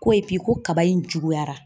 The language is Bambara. Ko koba in juguyara.